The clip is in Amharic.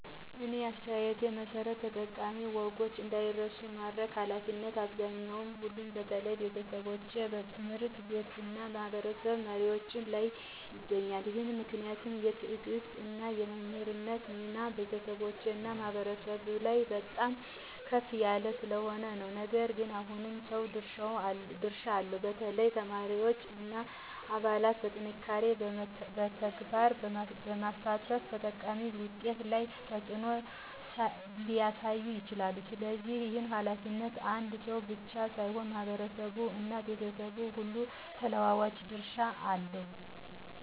እኔ አስተያየቴ መሠረት ጠቃሚ ወጎች እንዳይረሱ የማድረግ ኃላፊነት በአብዛኛው ሁሉም በተለይ ቤተሰቦች፣ ትምህርት ቤቶች እና ማህበረሰብ መሪዎች ላይ ይገኛል። ይህ ምክንያት የትዕግሥት እና የመምህርነት ሚና በቤተሰቦች እና በማህበረሰብ ላይ በጣም ከፍ ያለ ስለሆነ ነው። ነገር ግን ሁሉም ሰው ድርሻ አለው፣ በተለይ ተማሪዎች እና አባላት በጥንካሬና በተግባር በመሳተፍ ጠቃሚ ውጤት ላይ ተጽዕኖ ሊያሳዩ ይችላሉ። ስለዚህ ይህ ኃላፊነት አንድ ሰው ብቻ ሳይሆን በማህበረሰብ እና በቤተሰቦች ሁሉ ተለዋዋጭ ድርሻ አለው።